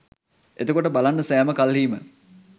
එතකොට බලන්න සැම කල්හී ම